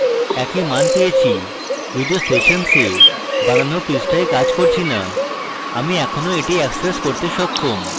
একই মান পেয়েছি যদিও সেশনসে বানানো পৃষ্ঠায় কাজ করছি না আমরা এখনো এটি অ্যাক্সেস করতে সক্ষম